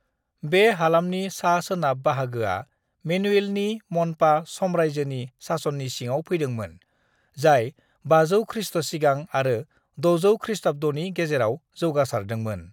"बे हालामनि सा-सोनाब बाहागोआ मेनुवेलनि म'न्पा साम्रायजोनि सासननि सिङाव फैदोंमोन, जाय 500 खृष्ट सिगां आरो 600 खृष्टाब्दनि गेजेराव जौगासारदोंमोन।"